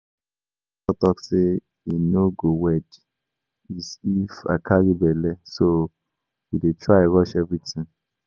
Our pastor talk say he no go wed is if I carry bele so we dey try rush everything